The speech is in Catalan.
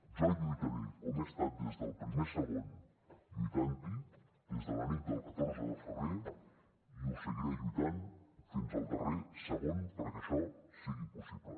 jo lluitaré com he estat des del primer segon lluitant hi des de la nit del catorze de febrer i seguiré lluitant fins al darrer segon perquè això sigui possible